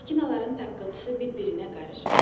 Maşınların taqqıltısı bir-birinə qarışıb.